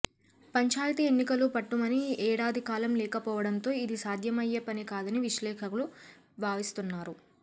పంచాయితీ ఎన్నికలు పట్టుమని ఏడాది కాలం లేకపోవడంతో ఇది సాధ్యమయ్యే పని కాదని విశ్లేషకులు భావిస్తున్నారు